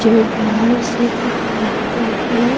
जो बाहर से दिख रहा है।